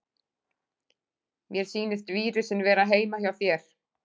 Mér sýnist vírusinn vera heima hjá þér.